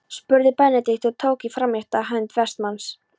spurði Benedikt og tók í framrétta hönd Vestmanns.